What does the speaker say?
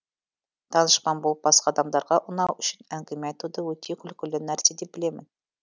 данышпан болып басқа адамдарға ұнау үшін әңгіме айтуды өте күлкілі нәрсе деп білемін